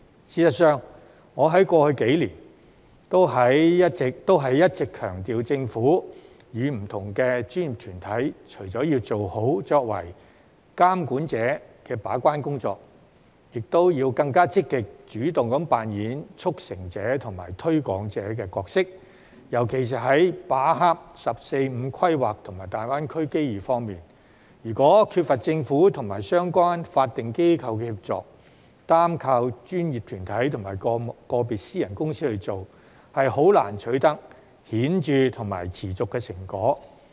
事實上，我在過去數年也一直強調，政府和不同的專業團體除了要做好作為監管者的把關工作，亦要更積極及主動地扮演促成者和推廣者的角色，尤其是在把握"十四五"規劃和大灣區機遇方面，如果缺乏政府和相關法定機構的協助，單靠專業團體和個別私人公司去做，實在難以取得顯著及持續的成果。